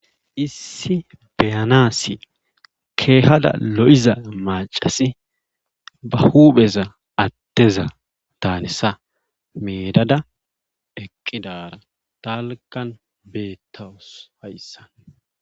Issi beyanaasi keehada lo7iza maccasi ba huupheza addeza daanisa meedada eqqidaara dalggan beettawus hayssan.